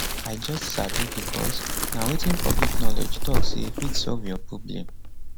i just sabi becos na wetin public knowledge tok say fit solve your problem